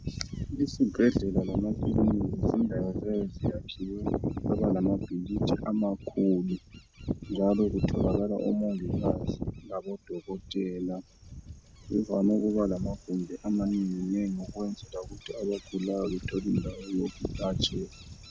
Izibhedlela lamakilinika zindawo eziyabe ziyakhiwe zaba lamabhilidi amakhulu njalo kutholakala omongikazi labodokotela. Zivame ukuba lamagumbi amanenginengi ukwenzela ukuthi abagulayo bathole indawo yokulatshelwa.